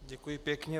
Děkuji pěkně.